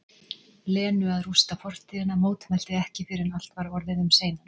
Lenu að rústa fortíðina, mótmælti ekki fyrr en allt var orðið um seinan.